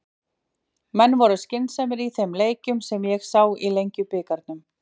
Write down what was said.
Menn voru skynsamir í þeim leikjum sem ég sá í Lengjubikarnum.